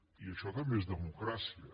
i això també és democràcia